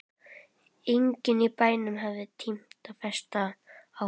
Enginn í bænum hafði tímt að festa á honum kaup.